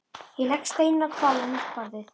Ég legg steininn á hvolf á mitt borðið.